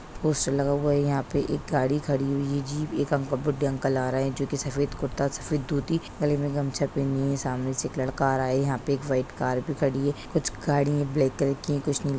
Poster लग हुआ है। यहाँ पे एक गाड़ी खड़ी हुई है। जीप एक अंकल बुड्ढे अंकल आ रहे हैं जो की सफेद कुर्ता सफेद धोती गले में घमछा पहने हैं। सामने से एक लड़का आ रहा है। यहाँ पे एक व्हाइट कार भी खड़ी हैं। कुछ गाड़ी ब्लैक कलर की है कुछ नीली --